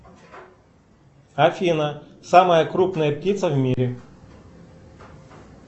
афина самая крупная птица в мире